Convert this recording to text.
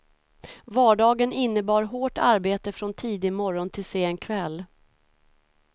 Vardagen innebar hårt arbete från tidig morgon till sen kväll.